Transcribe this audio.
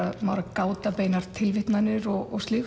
gáta beinar tilvitnanir og slíkt